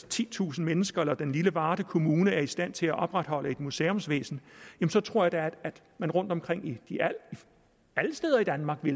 titusind mennesker eller den lille varde kommune er i stand til at opretholde et museumsvæsen tror jeg da at man alle steder i danmark vil